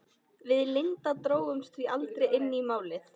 Við Linda drógumst því aldrei inn í Málið.